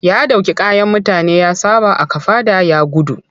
Ya ɗauki kayan mutane ya saɓa a kafaɗa ya gudu.